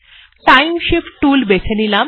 time shift tool বেছে নিলাম